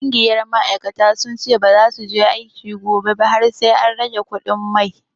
Ƙungiyar ma'aikata sun ce baza su je aiki gobe ba har sai an rage kuɗin mai.